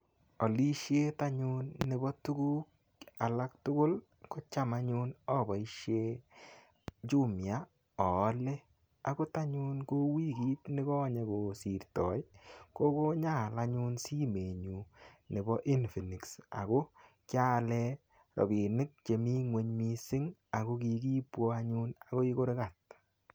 Olisiet anyun nebo tuguk alak tugul kocham anyun oboisien Jumia oole. Agot anyun kou wikit nikonye kosirtoi kokonyaal anyun simenyun nebo Infinix ago kialen robinik chemi ngweny missing ago kikibuon anyun agoi kurkat.